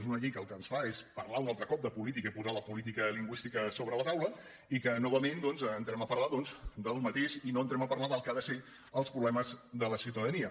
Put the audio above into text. és una llei que el que ens fa és parlar un altre cop de política i posar la política lingüística a sobre la taula i que novament doncs entrem a parlar del mateix i no entrem a parlar del que han de ser els problemes de la ciutadania